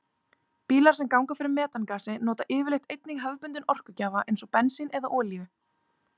Bílar sem ganga fyrir metangasi nota yfirleitt einnig hefðbundinn orkugjafa eins og bensín eða olíu.